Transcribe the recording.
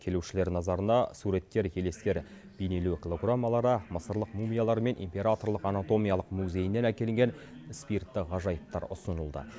келушілер назарына суреттер елестер бейнелеу голограммалары мысырлық мумиялар мен императорлық анатомиялық музейінен әкелінген спиртті ғажайыптар ұсынылды